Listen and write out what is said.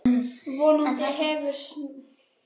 Vonandi hefur smalast vel.